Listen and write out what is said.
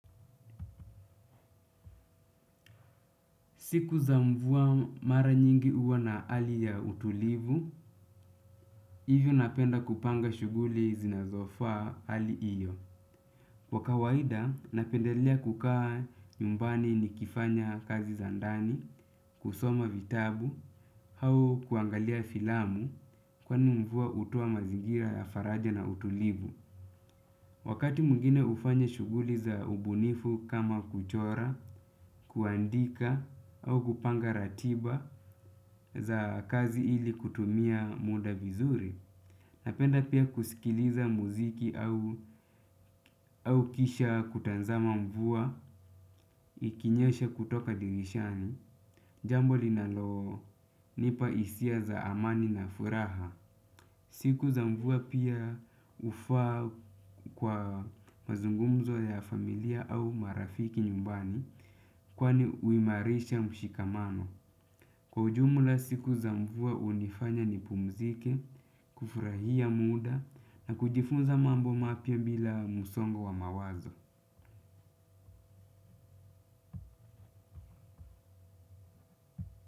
Siku za mvua mara nyingi huwa na hali ya utulivu, hivyo napenda kupanga shughuli zinazofaa hali hiyo. Kwa kawaida, napendelea kukaa nyumbani nikifanya kazi za ndani, kusoma vitabu, au kuangalia filamu kwani mvua hutoa mazingira ya faraja na utulivu. Wakati mwingine ufanya shughuli za ubunifu kama kuchora, kuandika au kupanga ratiba za kazi ili kutumia muda vizuri. Napenda pia kusikiliza muziki au kisha kutazama mvua ikinyesha kutoka dirishani. Jambo linalonipa hisia za amani na furaha. Siku za mvua pia hufaa kwa mazungumzo ya familia au marafiki nyumbani kwani huimarisha mshikamano. Kwa ujumla siku za mvua hunifanya nipumzike, kufurahia muda na kujifunza mambo mapya bila msongo wa mawazo.